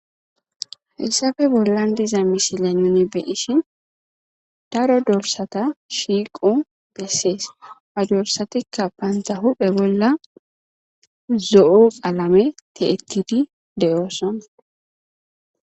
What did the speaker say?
Hayssafe bollan diza misile nuni beyishin daro dolsata shiiqu bessees a dorsatikka baanta huphe bolla zo7u alame tiettidi deyooson.